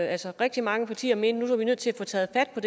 altså rigtig mange partier mente er vi nødt til at få taget fat på